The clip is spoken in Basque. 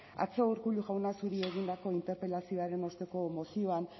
atzo urkullu jauna zuri egindako interpelazioaren osteko mozioan